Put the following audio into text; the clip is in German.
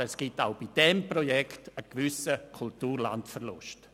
Aber es gibt bei diesem Projekt einen gewissen Kulturlandverlust.